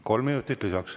Kolm minutit lisaks.